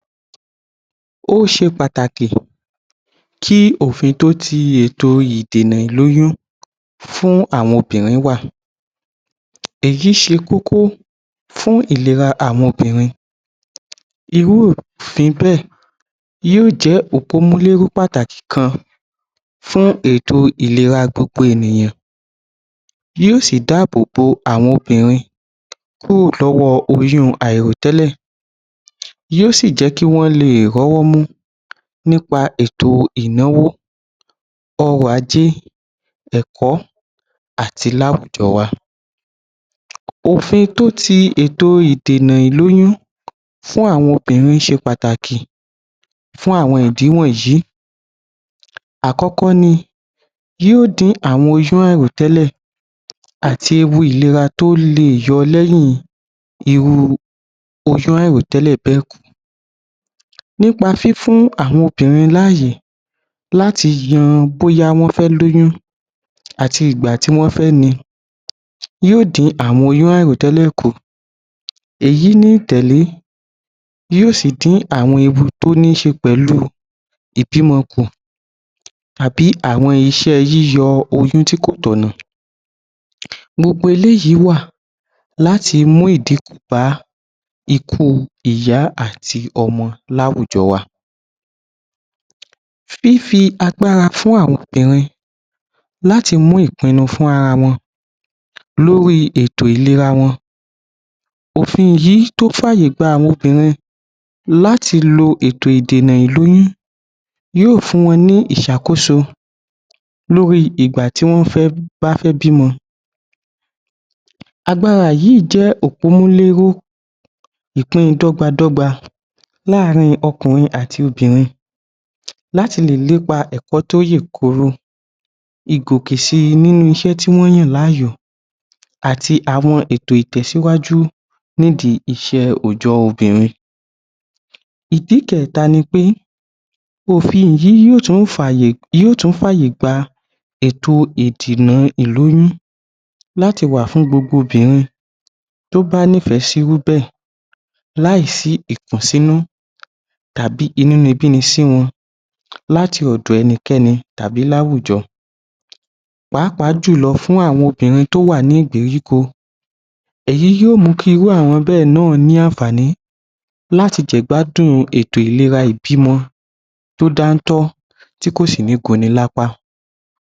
Ó ṣe pàtàkì kí òfin tó ti ètò ìdènà ìlóyún fún àwọn obìnrin wà èyí ṣe kókó fún ìlera àwọn obìnrin irú òfin bẹ́ẹ̀ yóò jẹ́ òpómúléró pàtàkì kan fún ètò ìlera gbogbo ènìyàn, yóò sì dábòbò àwọn obìnrin kúrò lára oyún àìròtẹ́lẹ̀, yóò sì jẹ́ kí wọ́n lè rówọ́mú nípa ètò ìnáwó, ọrọ̀-ajé, ẹ̀kọ́ àti láwujọ wa. òfin tó ti ètò ìdènà ìlóyún fún àwọn obìnrin ṣe pàtàkì fún àwọn ìdí wọ̀nyìí; àkọ́kọ́ ni yóò dín àwọn oyún àìròtẹ́lẹ̀ àti ewu ìlera tó lè yọ́ọ̀ lẹ́yìn irú oyún àìròtẹ́lẹ̀ bẹ́ẹ̀ kù nípa fífún àwọn obìnrin lááyé láti yọ bóyá wọ́n fẹ́ lóyún àti ìgbà tí wọ́n fẹ ni, yóò sì dín àwọn oyún àìròtẹ́lẹ̀ kù, ẹ̀yí ni yóò sì dín àwọn ewu tó níṣẹ pẹ̀lú ìdímọkù tàbí àwọn iṣẹ́ yíyọ oyún tí kò tọ̀nà gbogbo eléyìí wà láti mú ìdínkù bá ikú ìyá àti ọmọ láwujọ wa. Fífi agbára fún àwọn obìmrin láti mú ìpinu fún ara wọn lórí ètò ìlera wọn. òfin yìí tó fàyègbà àwọn obìnrin láti lo ètò ìdènà ìlóyún, yóò fún won ní ìṣakoso lórí ìgbà tí wọ́n fẹ́ bímọ agbára yìí jé òpómúléró, Ìpin dọ́gbadọ́gba láàrin ọkùnrin àti obìnrin láti lè lépa ẹ̀kọ́ tó yèkoro ni kò sì si inú iṣẹ́ tí wọ́n yàn láàyò àti àwọn ètò ìtẹ́sìwajú nídii iṣẹ́ òòjọ́ obìnrin Ìdí kẹta ni pé, òfin yìí yóò tún fàyègba ètò ìdènà ìlóyún láti wà fún gbogbo obìnrin tó bá nífẹ̀ sí irú bẹ́ẹ̀ láì sí ìkùnsínú tàbí inúnibíni sí wọn láti ọ̀dọ ẹnikẹ́ni àbí láwùjọ, pàápàá jùlọ, fún àwọn obìnrin tó wà ní ìgbèríko èyí yóò mú kí irú àwọn bẹ náà ní àǹfààní láti gbádùn ètò ìlera ìbímọ tó dántọ́ tí kò sí ní kó ni lápá.